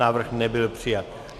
Návrh nebyl přijat.